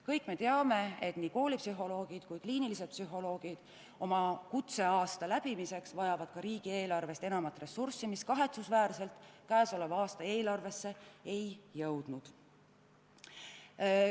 Kõik me teame, et nii koolipsühholoogid kui ka kliinilised psühholoogid vajavad oma kutseaasta läbimiseks riigieelarvest enamat ressurssi, mis käesoleva aasta eelarvesse kahetsusväärselt ei jõudnud.